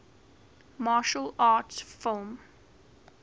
martial arts film